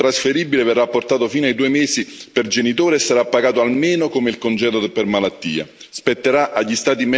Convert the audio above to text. Il congedo parentale non trasferibile verrà portato fino ai due mesi per genitore e sarà pagato almeno come il congedo per malattia.